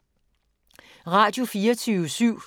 Radio24syv